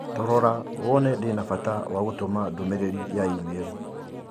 Torora wone ndĩ na bata wa gũtũma ndũmĩrĩri ya i-mīrū